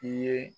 I ye